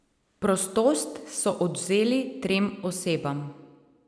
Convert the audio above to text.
Prostost so odvzeli trem osebam.